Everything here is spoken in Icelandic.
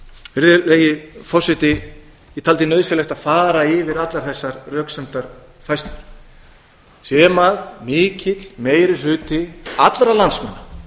vatnsmýrinni virðulegi forseti ég taldi nauðsynlegt að fara yfir allar þessar röksemdafærslur sem mikill meiri hluti allra landsmanna